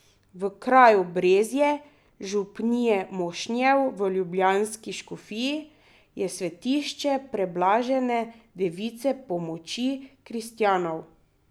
V kraju Brezje, župnije Mošnje v ljubljanski škofiji, je svetišče preblažene Device, Pomoči kristjanov.